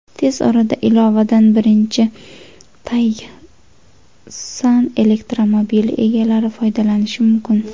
Tez orada ilovadan birinchi Taycan elektromobili egalari foydalanishi mumkin.